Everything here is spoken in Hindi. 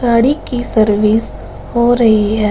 गाड़ी की सर्विस हो रही हैं।